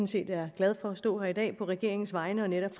set er glad for at stå her i dag på regeringens vegne og netop